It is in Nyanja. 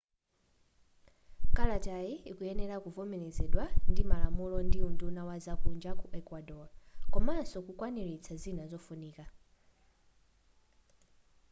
kalatayi ikuyenera kuvomelezedwa ndi malamulo ndi unduna wa zakunja ku ecuador komanso kukwaniritsa zina zofunifira